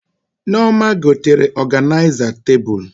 Nneoma gotere ọganịza tebụl